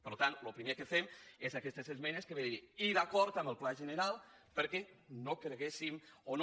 per tant el primer que fem és aquestes esmenes que vénen a dir i d’acord amb el pla general perquè no creguéssim o no